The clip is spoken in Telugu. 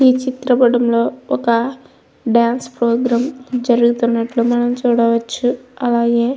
ఈ చిత్ర పటంలో ఒక డాన్స్ ప్రోగ్రాం జరుగుతున్నట్టుగా మనం చూడవచ్చు. అలాగే --